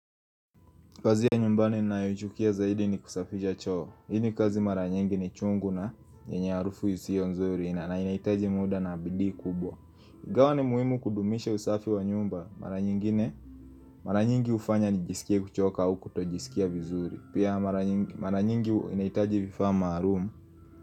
Kazi ya nyumbani ninayoichukia zaidi ni kusafisha choo. Hii ni kazi mara nyingi ni chungu na yenye harufu isiyo nzuri na inahitaji muda na bidii kubwa Ingawa ni muhimu kudumisha usafi wa nyumba Mara nyingi hufanya nijisikie kuchoka au kutojisikia vizuri. Pia mara nyingi inahitaji vifaa maalumu.